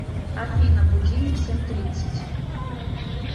афина будильник семь тридцать